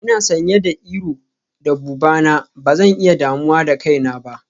Ina sanye da iro da buba na, ba zan iya damuwa da kaina ba.